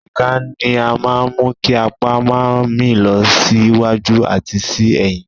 Èjìká ní máa mú kí apa máa mì lọ sí wájú àti sí ẹ̀yìn.